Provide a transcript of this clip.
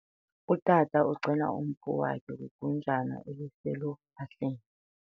Utata ugcina umpu wakhe kwigunjana eliseluphahleni.